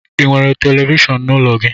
Ị nwere televishon n'ụlọ gị?